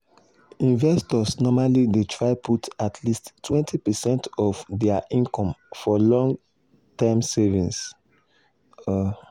investors normally dey try put at least 20 percent of dir income for long-term savings. um